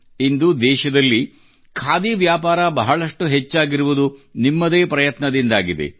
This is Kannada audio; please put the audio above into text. ಇಂದು ದೇಶದಲ್ಲಿ ಖಾದಿ ವ್ಯಾಪಾರ ಬಹಳಷ್ಟು ಹೆಚ್ಚಾಗಿರುವುದು ನಿಮ್ಮದೇ ಪ್ರಯತ್ನದಿಂದಾಗಿದೆ